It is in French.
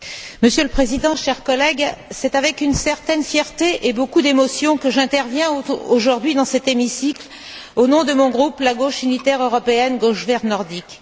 Monsieur le Président, chers collègues, c'est avec une certaine fierté et beaucoup d'émotion que j'interviens aujourd'hui dans cet hémicycle au nom de mon groupe, la Gauche unitaire européenne Gauche verte nordique.